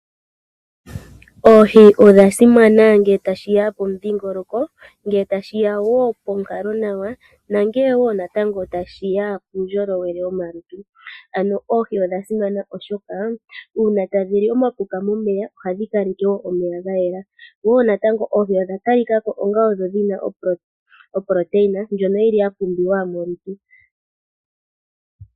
Oohi odha simana ngele tashiya pomudhingoloko, ngele tashiya wo ponkalonawa nangele wo natango tashiya puundjolowele womalutu. Ano oohi odha simana oshoka uuna tadhi li omapuka momeya ohadhi kaleke wo omeya ga yela, wo natango oohi odha ta lika ko onga odho dhina oproteina ndjono yili ya pumbiwa molutu.